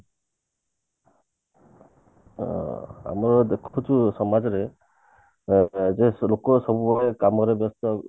ଅ ଆମେ ଦେଖୁଛେ ସମାଜରେ ଅ ଯୋଉ ଲୋକ ସବୁବେଳେ କାମରେ ବ୍ୟସ୍ତ